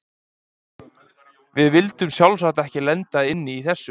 Við vildum sjálfsagt ekki lenda inni í þessu!